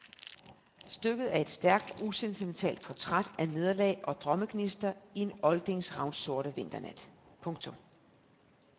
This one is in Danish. Stykket er et stærkt og usentimentalt portræt af nederlag og drømmegnister i en oldings ravnsorte vinternat. punktum